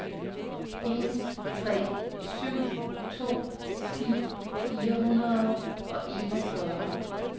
en tre syv to ti fire hundrede og enogfyrre